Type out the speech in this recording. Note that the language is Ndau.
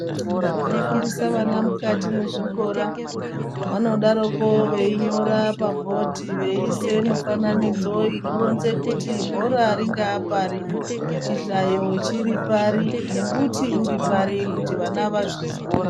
Vanofundiswa vana mukati mwezvikora vanodaroko veinyora pabhodhi veiise mifananidzo inoronze kuti bhora ringaapari, chihlato chiripari nembuti uripari kuti vana vazvizwe.